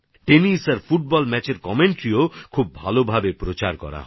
tennis আর football ম্যাচের ধারাভাষ্যও অনেক ভালো ভাবে উপস্থাপনা করা হত